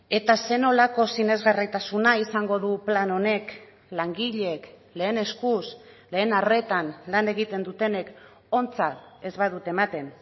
eta zer nolako sinesgarritasuna izango du plan honek langileek lehen eskuz lehen arretan lan egiten dutenek ontzat ez badute ematen